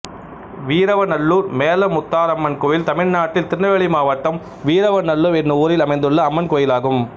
வீரவநல்லூர் மேலமுத்தாரம்மன் கோயில் தமிழ்நாட்டில் திருநெல்வேலி மாவட்டம் வீரவநல்லூர் என்னும் ஊரில் அமைந்துள்ள அம்மன் கோயிலாகும்